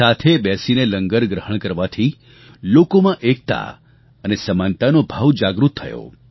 સાથે બેસીને લંગર ગ્રહણ કરવાથી લોકોમાં એકતા અને સમાનતાનો ભાવ જાગૃત થયો